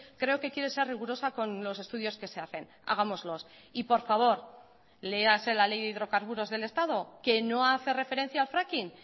creo que quiere ser rigurosa con los estudios que se hacen hagámoslos y por favor léase la ley de hidrocarburos del estado que no hace referencia al fracking